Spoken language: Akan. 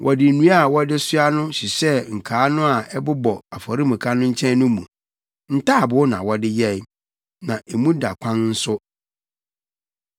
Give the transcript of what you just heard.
Wɔde nnua a wɔde soa no hyehyɛɛ nkaa no a ɛbobɔ afɔremuka no nkyɛn no mu. Ntaaboo na wɔde yɛe. Na emu da kwan nso.